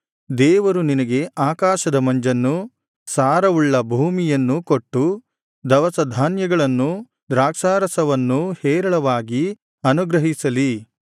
ದೇವರು ನಿನಗೆ ಆಕಾಶದ ಮಂಜನ್ನೂ ಸಾರವುಳ್ಳ ಭೂಮಿಯನ್ನೂ ಕೊಟ್ಟು ದವಸಧಾನ್ಯಗಳನ್ನೂ ದ್ರಾಕ್ಷಾರಸವನ್ನೂ ಹೇರಳವಾಗಿ ಅನುಗ್ರಹಿಸಲಿ